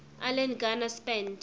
alan garner spent